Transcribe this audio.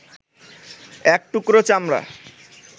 এক টুকরো চামড়া